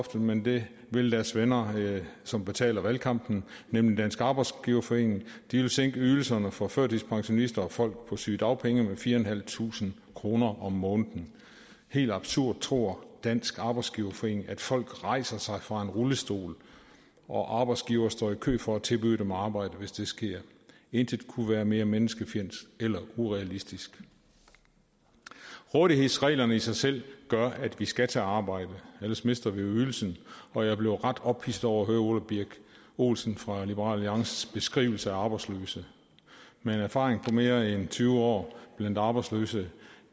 men det vil deres venner som betaler valgkampen nemlig dansk arbejdsgiverforening de vil sænke ydelserne for førtidspensionister og folk på sygedagpenge med fire tusind fem kroner om måneden helt absurd tror dansk arbejdsgiverforening at folk rejser sig fra en rullestol og at arbejdsgivere står i kø for at tilbyde dem arbejde hvis det sker intet kunne være mere menneskefjendsk eller urealistisk rådighedsreglerne i sig selv gør at vi skal tage arbejde ellers mister vi ydelsen og jeg blev ret ophidset over at høre ole birk olesen fra liberal alliances beskrivelse af arbejdsløse med en erfaring på mere end tyve år blandt arbejdsløse